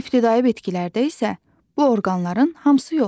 İbtidai bitkilərdə isə bu orqanların hamısı yoxdur.